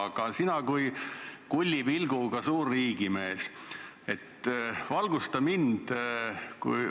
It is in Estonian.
Aga sina kui kullipilguga suur riigimees, valgusta mind!